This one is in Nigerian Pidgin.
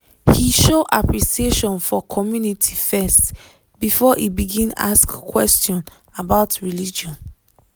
he show appreciation for community first before e begin ask question about religion